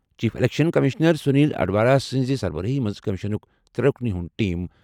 Chief election commissioner Sunil Arora سٕنٛزِ سربرٲہی منٛز کٔمِشنُک ترٛےٚ رُکنن ہُنٛد ٹیٖم ۔